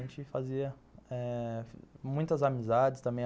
A gente fazia eh muitas amizades também.